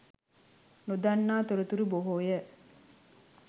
නොදන්නා තොරතුරු බොහෝය.